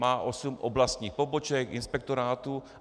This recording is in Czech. Má osm oblastních poboček, inspektorátů.